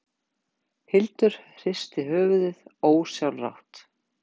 Hildur hristi höfuðið ósjálfrátt.